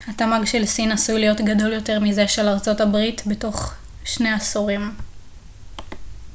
התמ ג של סין עשוי להיות גדול יותר מזה של ארצות הברית בתוך שני עשורים